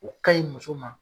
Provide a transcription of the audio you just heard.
O kaɲi muso ma